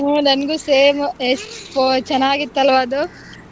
ಹು ನಂಗೂ ಸ same ಎಷ್ಟು ಚೆನ್ನಾಗಿತ್ತು ಅಲ್ವಾ ಅದು.